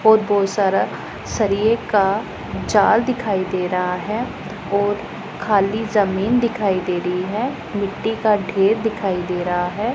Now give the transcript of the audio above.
बहोत बहोत सारा सरिए का जाल दिखाई दे रहा है और खाली जमीन दिखाई दे रही है मिट्टी का ढेर दिखाई दे रहा है।